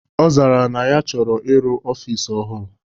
Ọ zara ya na ya chọrọ ịrụ ọfịs ọhụrụ